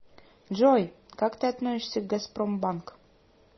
джой как ты относишься к газпромбанк